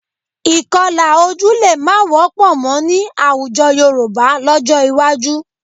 Ìkọlà ojú lè má wọ́pọ̀ mọ́ ní àwùjọ Yorùbá lọ́jọ́ iwájú